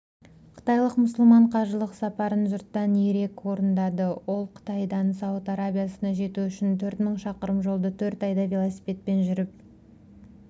қытайлық мұсылман қажылық сапарын жұрттан ерек орындады ол қытайдан сауд арабиясына жету үшін төрт мың шақырым жолды төрт айда велосипедпен жүріп